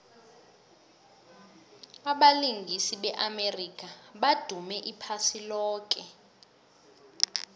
abalingisi be amerika badume iphasi loke